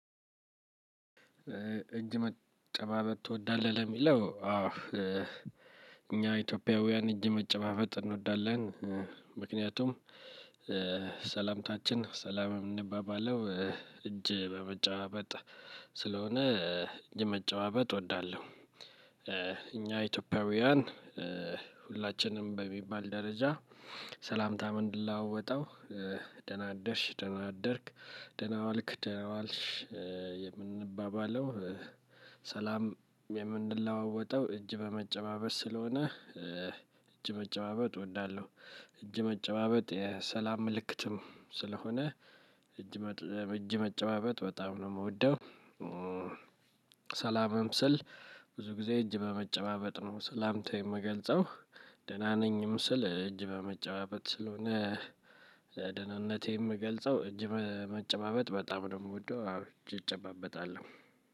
"እጅ መጨባበጥ ትወዳለህ?" የሚለው አዎ እኛ ኢትዮጵያውያን እጅ መጨባበጥ እንወዳለን። ምክንያቱም ሰላምታችን ሰላም የምንባባለው እጅ በመጨባበጥ ስለሆነ እጅ መጨባበጥ እወዳለሁ። እኛ ኢትዮጵያውያን ሁላችንም በሚባል ደረጃ ሰላምታ ምለዋወጠው ደህና አደርሽ፣ ደህና አደርክ፣ ደህና ዋልክ፣ ደህና ዋልሽ፣ የምንባባለው ሰላም የምንለዋወጠው እጅ በመጨባበጥ ስለሆነ እጅ መጨባበጥ እወዳለሁ። እጅ መጨባበጥ የሰላም ምልክትም ስለሆነ እጅ መጨ እጅ መጨባበጥ በጣም ነው የምወደው። ሰላምም ስል ብዙ ጊዜ እጅ በመጨባበጥ ነው ሰላምታ የምገልጸው። ደህና ነኝም ስል እጅ በመጨባበጥ ስለሆነ ደህንነቴን የምገልጸው እጅ መ መጨባበጥ በጣም ነው የምወደው አብዝቼ እጨባበጣለሁ።